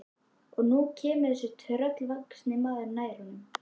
Og nú kemur þessi tröllvaxni maður nær honum.